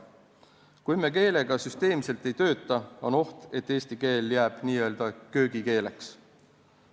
Kui me keelega süsteemselt ei tööta, on oht, et eesti keel jääb n-ö köögikeeleks.